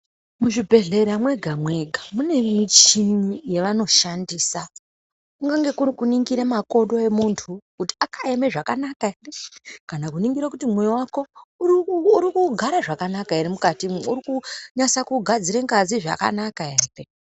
Muzvibhedhlera mwega mwega mune michini yevanoshandisa kunenge kuri kuningire makodo emuntu kuti akaeme zvakanaka kana kuningire kuti mwoyo wako uri ku rikugare zvakanaka ere mukatimwo urukunasa kugadzira ngazi zvakanaka ere.